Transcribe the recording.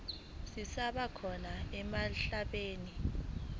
zisaba khona emhlabeni